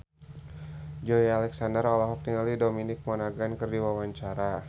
Joey Alexander olohok ningali Dominic Monaghan keur diwawancara